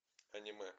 аниме